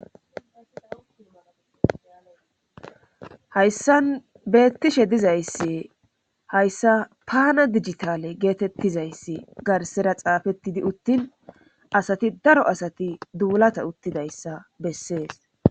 Hayssan beettishe dizayssi hayssa pana digitale geetettizayssi garsera xaafettidi uttin asati daro asati duulata uttidayssa bessees.